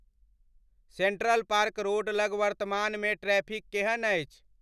Central park road लग वर्तमानमे traffic केहन अछि?